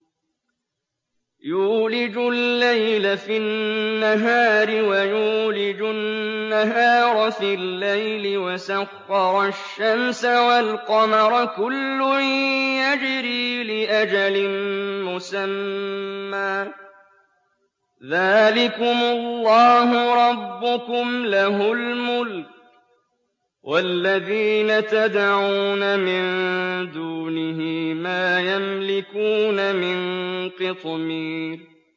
يُولِجُ اللَّيْلَ فِي النَّهَارِ وَيُولِجُ النَّهَارَ فِي اللَّيْلِ وَسَخَّرَ الشَّمْسَ وَالْقَمَرَ كُلٌّ يَجْرِي لِأَجَلٍ مُّسَمًّى ۚ ذَٰلِكُمُ اللَّهُ رَبُّكُمْ لَهُ الْمُلْكُ ۚ وَالَّذِينَ تَدْعُونَ مِن دُونِهِ مَا يَمْلِكُونَ مِن قِطْمِيرٍ